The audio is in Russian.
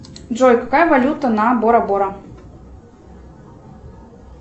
джой какая валюта на бора бора